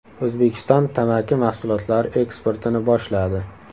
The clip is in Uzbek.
O‘zbekiston tamaki mahsulotlari eksportini boshladi.